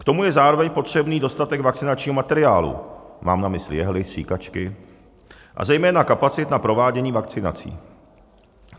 K tomu je zároveň potřebný dostatek vakcinačního materiálu, mám na mysli jehly, stříkačky, a zejména kapacit na provádění vakcinací.